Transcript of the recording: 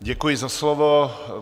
Děkuji za slovo.